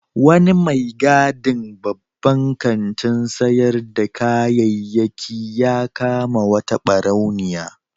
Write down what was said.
Wani mai gadin babban kantin sayar da kayayyaki ya kama wata ɓarauniya.